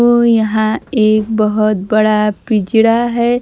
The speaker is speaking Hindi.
ओ यहां एक बहोत बड़ा पिंजरा है।